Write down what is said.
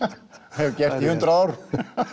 hef gert í hundrað ár